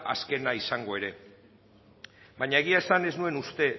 azkena izango ere baina egia esan ez nuen uste